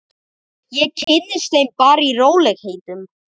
Ég kynnist þeim bara í rólegheitum.